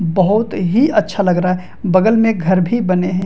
बहुत ही अच्छा लग रहा है बगल में घर भी बने है ।